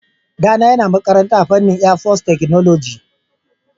Ɗana yana makaranta a fannin airforcetechnology.